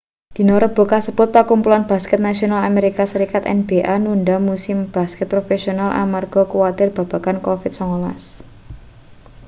dina rebo kasebut pakumpulan basket nasional amerika serikat nba nundha musim basket profesional amarga kuwatir babagan covid-19